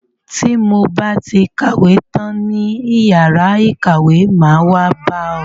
Ti mo ba ti kàwé tán ní yàrá ìkàwé, máa wá bá ọ.